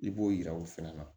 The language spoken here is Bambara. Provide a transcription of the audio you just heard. I b'o yira o fɛnɛ na